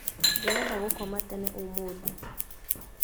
Ndĩrenda gũkoma tene ũmũthĩ